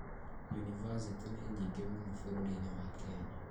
Yunibathĩtĩ nĩ nyingĩ mũno bũrũri-inĩ wa Kenya